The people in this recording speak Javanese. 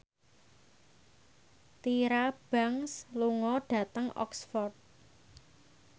Tyra Banks lunga dhateng Oxford